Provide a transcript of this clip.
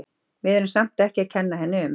Við erum samt ekki að kenna henni um.